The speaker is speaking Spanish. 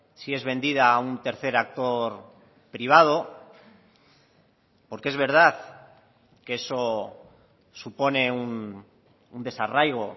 si es vendida a un tercer actor privado porque es verdad que eso supone un desarraigo